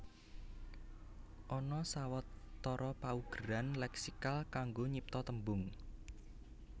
Ana sawatara paugeran lèksikal kanggo nyipta tembung